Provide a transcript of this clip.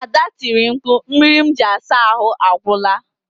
Ada tiri mkpu, mmiri m ji asa ahụ agwụla